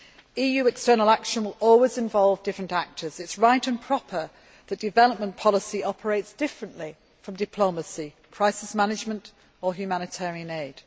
EU external action will always involve different actors. It is right and proper that development policy operates differently from diplomacy, crisis management or humanitarian aid.